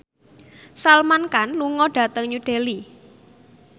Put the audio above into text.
Salman Khan lunga dhateng New Delhi